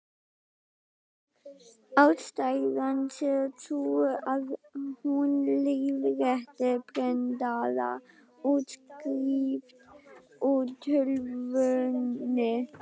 Ástæðan sé sú, að hún leiðrétti prentaða útskrift úr tölvunni.